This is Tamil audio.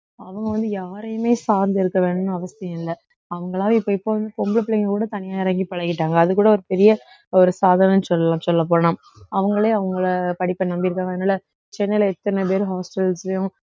அவங்க வந்து யாரையுமே சார்ந்து இருக்க வேணும்ன்னு அவசியம் இல்லை அவுங்களா இப்ப இப்போ பொம்பளைப் பிள்ளைங்க கூட தனியா இறங்கிப் பழகிட்டாங்க அதுகூட ஒரு பெரிய ஒரு சாதனைன்னு சொல்லலாம் சொல்லப் போனா அவுங்களே அவுங்களோட படிப்பை நம்பி இருக்காங்க அதனால சென்னையில எத்தனை பேர் hostels லயும்